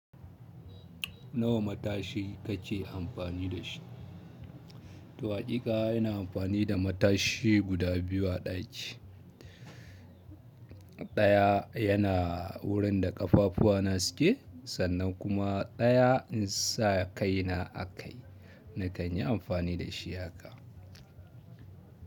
Nawa matashi kake amfani da shi? To haƙiƙa ina amfani da matashi guda biyu a ɗaki. Ɗaya yana wurin da ƙafafuwa na suke sannan kuma ɗaya in sa kai na a kai. Na kan yi amfani da shi haka.